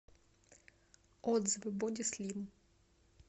отзывы боди слим